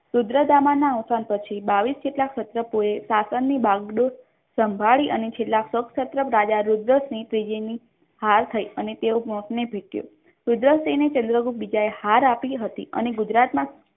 અવસાન પછી બાવીસ જેટલા સત્ર કોઈ શાસનની ડાગડોળ સંભાળી અને છેલ્લા રાજા રુદ્ર હાર થઈ અને તેઓ મોતને ભેટ્યો રુદ્રસિંહ ને છેલ્લે કોઈ બીજાએ હાર આપી હતી અને ગુજરાતમાં